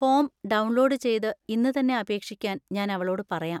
Form download ചെയ്ത് ഇന്ന് തന്നെ അപേക്ഷിക്കാൻ ഞാൻ അവളോട് പറയാം.